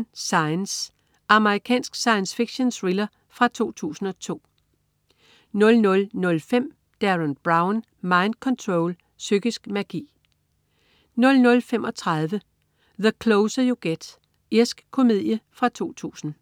22.15 Signs. Amerikansk science fiction-thriller fra 2002 00.05 Derren Brown. Mind Control. Psykisk magi 00.35 The Closer You Get. Irsk komedie fra 2000